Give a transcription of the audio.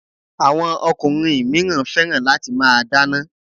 Àwọn ọkùnrin míràn fẹ́ràn láti máa dana